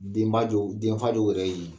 Denba jɔw, denfa jɔw yɛrɛ ye yen